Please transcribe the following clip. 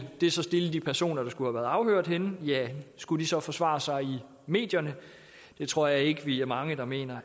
det så stille de personer som skulle være afhørt skulle de så forsvare sig i medierne det tror jeg ikke vi er mange der mener